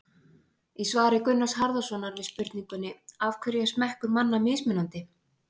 Í svari Gunnars Harðarsonar við spurningunni Af hverju er smekkur manna mismunandi?